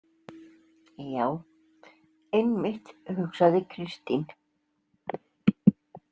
Já, einmitt, hugsaði Kristín.